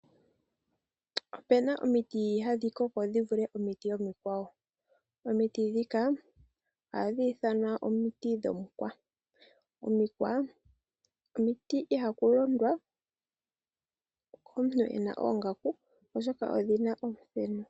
Opu na omiti hadhi koko dhi vule omiti omikwawo. Omiti ndhika ohadhi ithanwa omikwa. Omikwa omiti ihaku londwa komuntu a zala oongaaku, oshoka odhi na omuthenu.